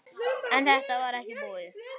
En þetta var ekki búið.